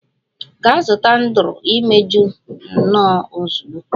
Gaa zụta Andrew imeju, nnu ozugbo!